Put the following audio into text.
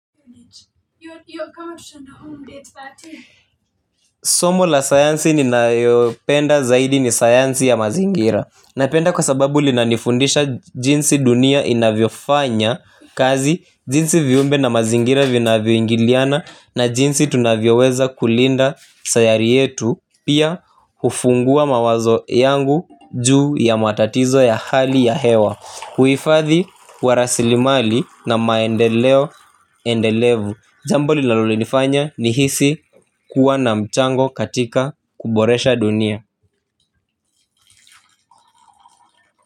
Somo la sayansi ninayo penda zaidi ni sayansi ya mazingira. Na penda kwa sababu linanifundisha jinsi dunia inavyo fanya kazi jinsi viumbe na mazingira vina vyoingiliana na jinsi tunavyo weza kulinda sayari yetu. Pia hufungua mawazo yangu juu ya matatizo ya hali ya hewa uhifadhi warasilimali na maendeleo endelevu. Jambo linalo nifanya ni hisi kuwa na mchango katika kuboresha dunia.